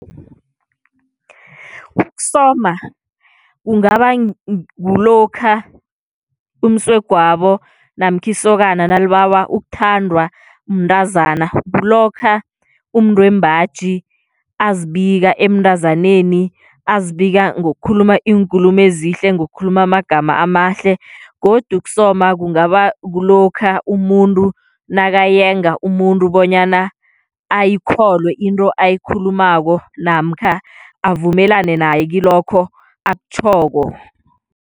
Ukusoma kungaba kulokha umsegwabo namkha isokana nalibawa ukuthandwa mntazana, kulokha umuntu wembaji azibika emntazaneni azibika ngokukhuluma iinkulumo ezihle ngokukhuluma amagama amahle godu ukusoma kungaba kulokha umuntu nakayenga umuntu bonyana ayikholwe into ayikhulumako namkha avumelane naye kilokho akutjhoko.